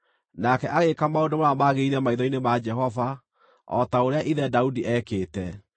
Nake agĩĩka maũndũ marĩa magĩrĩire maitho-inĩ ma Jehova, o ta ũrĩa ithe Daudi eekĩte.